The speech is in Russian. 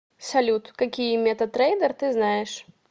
салют какие мета трейдер ты знаешь